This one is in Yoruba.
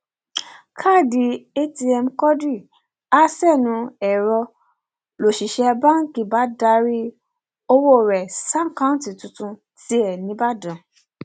káàdì atm quadri ha sẹnu ẹrọ ń lọṣiṣẹ báǹkì bá darí ọwọ rẹ ṣàkàtúntì tiẹ nìbàdàn